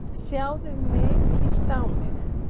"""Sjáðu mig, líttu á mig."""